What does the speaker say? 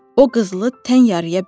O qızılı tən yarıya böldü.